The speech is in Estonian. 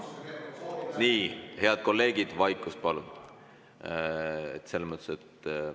Nii, head kolleegid, vaikust palun!